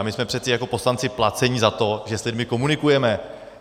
A my jsme přece jako poslanci placeni za to, že s lidmi komunikujeme.